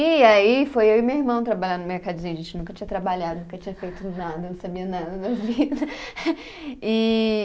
E aí foi eu e meu irmão trabalhar no mercadinho, a gente nunca tinha trabalhado, nunca tinha feito nada, não sabia nada da vida. E